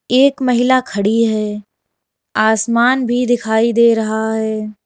एक महिला खड़ी है आसमान भी दिखाई दे रहा है।